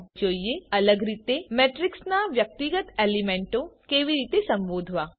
ચાલો હવે જોઈએ અલગ રીતે મેટ્રીક્સના વ્યક્તિગત એલીમેન્ટો કેવી રીતે સંબોધવા